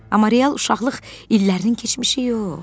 Amma real uşaqlıq illərinin keçmişi yox.